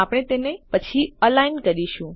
આપણે તેને પછી અલાઇન કરીશું